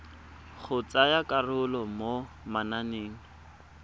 go tsaya karolo mo mananeng